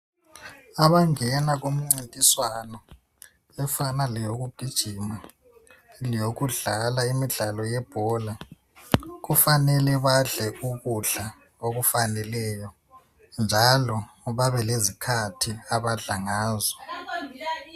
Abangena kumncintiswano efana leyoku gijima leyokudlala imidlalo yebhola kufanele badle ukudla okufaneleyo njalo babelezkhathi abadla ngazo.